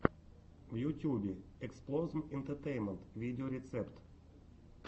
в ютюбе эксплозм энтетейнмент видеорецепт